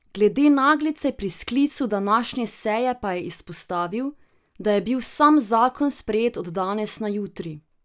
Glede naglice pri sklicu današnje seje pa je izpostavil, da je bil sam zakon sprejet od danes na jutri.